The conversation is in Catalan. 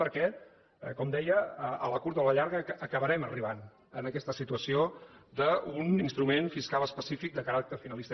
perquè com deia a la curta o a la llarga acabarem arribant en aquesta situació d’un instrument fiscal específic de caràcter finalista